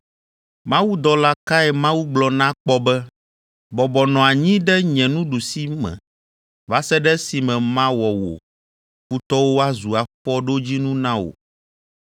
Mawudɔla kae Mawu gblɔ na kpɔ be, “Bɔbɔ nɔ anyi ɖe nye nuɖusime va se ɖe esime mawɔ wò futɔwo woazu afɔɖodzinu na wò”?